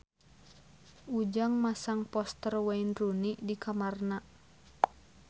Ujang masang poster Wayne Rooney di kamarna